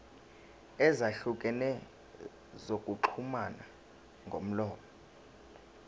ezahlukene zokuxhumana ngomlomo